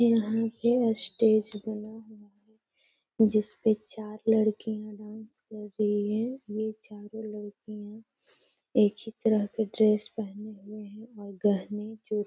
यहाँ पे अस्टेज बना हुआ है जिस पे चार लड़कियाँ डांस कर रही हैं। ये चारों लड़कियां एक ही तरह के ड्रेस पहने हुए हैं और गहने जो --